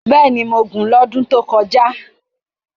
bẹẹni, Mo gù n odun to koja